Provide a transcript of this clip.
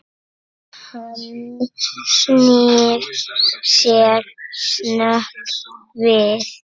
Hann snýr sér snöggt við.